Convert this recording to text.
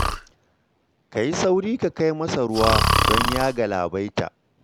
Ka yi sauri ka kai masa ruwan don ya galabaita